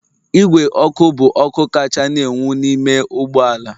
Igwe ọkụ bụ ọkụ kacha na-enwu n'ime ụgbọ ala